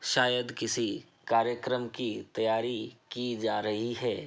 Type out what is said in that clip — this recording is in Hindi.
शायद किसी कार्यक्रम की तैयारी की जा रही है।